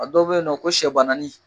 A dɔw bɛ yen nɔ ko sɛ bananin